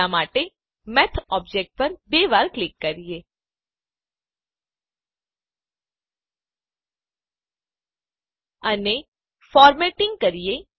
હમણાં માટે math object પર બે વાર ક્લિક કરીએ અને ફોર્મેટીંગ કરીએ